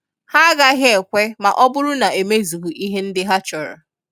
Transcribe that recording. Ha agaghị ekwe ma ọ bụrụ n'emezughị ihe ndị ha chọrọ.